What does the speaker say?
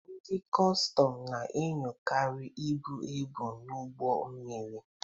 Ndị kọstọm na-enyochakarị ibu ebu n'ụgbọ mmiri.